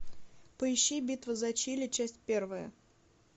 поищи битва за чили часть первая